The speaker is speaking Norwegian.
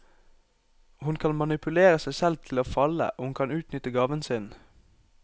Hun kan manipulere seg selv til å falle og hun kan utnytte gaven sin.